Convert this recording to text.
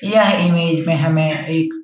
यह इमेज में हमे एक --